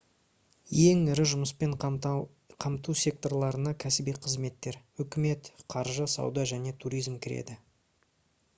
ең ірі жұмыспен қамту секторларына кәсіби қызметтер үкімет қаржы сауда және туризм кіреді